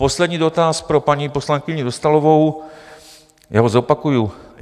Poslední dotaz pro paní poslankyni Dostálovou, já ho zopakuji.